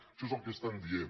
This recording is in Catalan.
això és el que estan dient